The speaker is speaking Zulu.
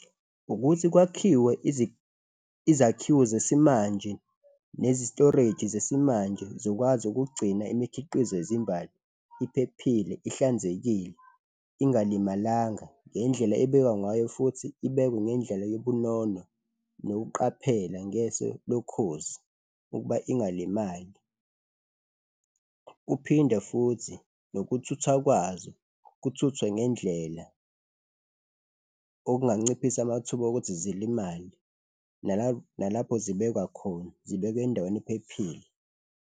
Ukuthi kwakhiwe izakhiwo zesimanje nezi-storage-i zesimanje, zikwazi ukugcina imikhiqizo yezimbali iphephile, ihlanzekile, ingalimalanga ngendlela ebekwa ngayo futhi ibekwe ngendlela yobunono nokuqaphela ngeso lokhozi ukuba ingalimali. Kuphinde futhi nokuthuthwa kwazo kuthuthwe ngendlela okunganciphisa amathuba okuthi zilimale nalapho, nalapho zibekwa khona zibekwe endaweni ephephile.